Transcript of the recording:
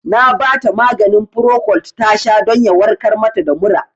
Na bata maganin Procold tasha don ya warkar mata da mura